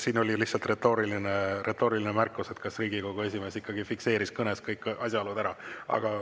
Siin oli lihtsalt retooriline märkus, et kas Riigikogu esimees ikkagi fikseeris kõnes kõik asjaolud ära.